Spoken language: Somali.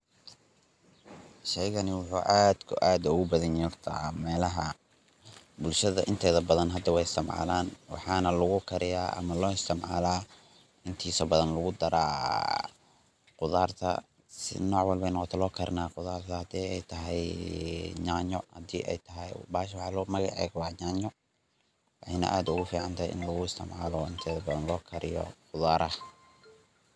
Sheygani waxuu aad iyo aad ogu badan yahay bulshada horta inteeda badan melaha hadda wey isticmalaan waxaan lagu kariyaa ama loo isticmalaa intiisa badan lagu daraa khudarta taasi ay tahay ee magaceed waa yaanyo waxeyna aad ooga baxdaa inteeda badan loo kariyo khudaraha.